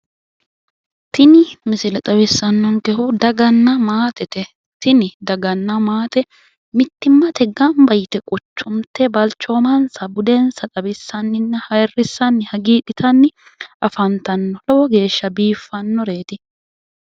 Tini misile xawissannonkehu daganna maatete tini daganna maate mittimmatenni gamba yite quchunte balchoomansanna budensa xawissanninna ayirrissanni hagiidhitayi afantanno lowo geeshsha biiffannoreeti.